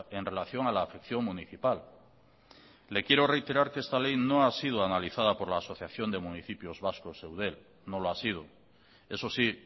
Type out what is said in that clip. en relación a la afección municipal le quiero reiterar que esta ley no ha sido analizada por la asociación de municipios vascos eudel no lo ha sido eso sí